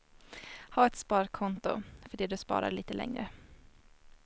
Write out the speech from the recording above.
Ha ett sparkonto för det du sparar lite längre.